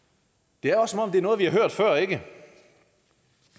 det er også som om det er noget vi har hørt før ikke